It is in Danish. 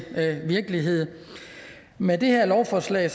virkelighed med det her lovforslag